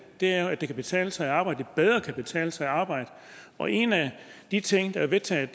er jo at det kan betale sig at arbejde at det bedre kan betale sig at arbejde og en af de ting der er vedtaget